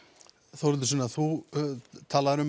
Þórhildur Sunna þú talaðir um